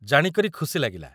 ଜାଣିକରି ଖୁସି ଲାଗିଲା ।